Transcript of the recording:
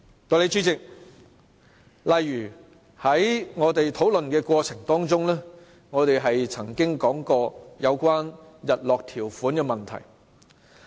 代理主席，在討論的過程中，我們曾經提到有關日落條款的問題。